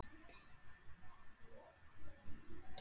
Kær kveðja, þinn pabbi.